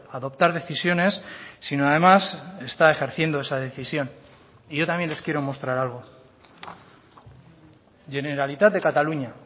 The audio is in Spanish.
adoptar decisiones sino además está ejerciendo esa decisión y yo también les quiero mostrar algo generalitat de cataluña